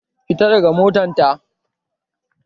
Fita daga mota ta!